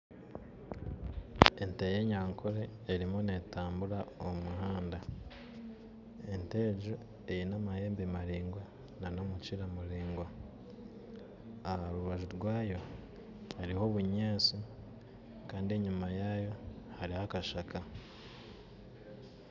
Ente y'enyankore erimu n'etambura omu muhanda, ente egyo aine amahembe maraigwa n'omukiira muraigwa aha rubanju rwayo hariho obunyasti kandi enyima yaayo hariho akashaka